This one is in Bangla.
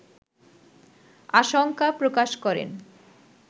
আশঙ্কা প্রকাশ করেন